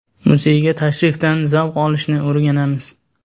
Muzeyga tashrifdan zavq olishni o‘rganamiz.